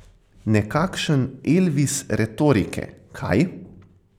Nekakšen Elvis retorike, kaj.